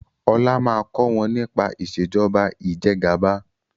ọlá má kò wón nípa Ìṣèjọba Ìjẹgàba